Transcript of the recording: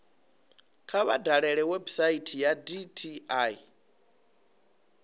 kha vha dalele website ya dti